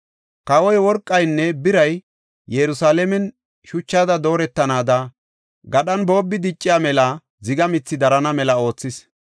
Kawoy worqaynne biray Yerusalaamen shuchada dooretanaada, gadhan boobbi dicciya mela ziga mithi darana mela oothis.